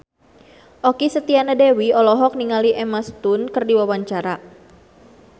Okky Setiana Dewi olohok ningali Emma Stone keur diwawancara